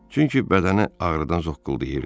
Çünki bədəni ağrıdan zokqıldayırdı.